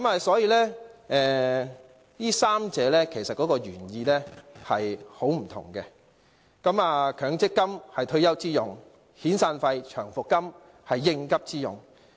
所以，這三者的原意大不相同，強積金是退休之用，遣散費及長期服務金是應急之用。